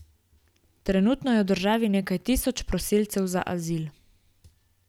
Trenutno je v državi nekaj tisoč prosilcev za azil.